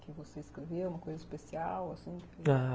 que você escrevia, uma coisa especial, assim? a...